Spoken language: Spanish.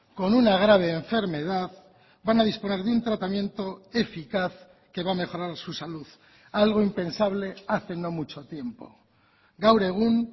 con una grave enfermedad van a disponer de un tratamiento eficaz que va a mejorar su salud algo impensable hace no mucho tiempo gaur egun